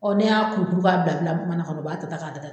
ne y'a ko tugun k'a bila bila manan kɔnɔ u b'a ta ta ka da